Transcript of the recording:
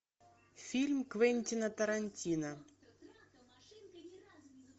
фильм квентина тарантино